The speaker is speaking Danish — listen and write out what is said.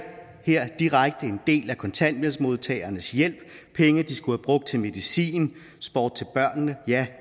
direkte en del af kontanthjælpsmodtagernes hjælp penge de skulle have brugt til medicin sport til børnene